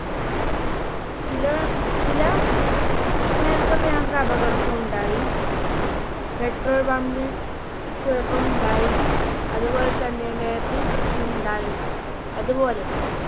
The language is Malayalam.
ചില, ചില നേരത്തൊക്കെ ഞങ്ങൾക്ക് അപകടൊക്കെ ഉണ്ടായി petrol pumb ൽ കുഴപ്പം ഉണ്ടായി. അതുപോലെ തന്നെ map ൽ പ്രശ്നം ഉണ്ടായി, അതുപോലെ